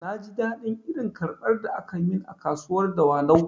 Na ji daɗin irin karbar da akayi min a kasuwar dawanau